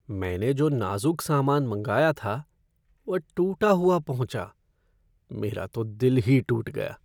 मैंने जो नाजुक सामान मंगाया था वह टूटा हुआ पहुँचा। मेरा तो दिल ही टूट गया।